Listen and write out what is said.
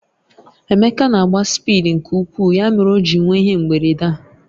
Emeka na-agba spịdi nke ukwuu ya mere o ji nwee ihe mberede a